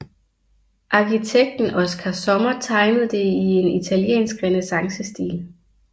Arkitekten Oskar Sommer tegnede det i en italiensk renæssancestil